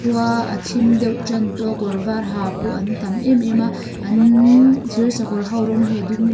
khua a thim deuh tan tawh a kawr var ha pawh an tam em em a an thirsakawr ho rawng hi a dum--